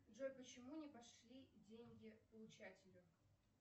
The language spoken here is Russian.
джой почему не пошли деньги получателю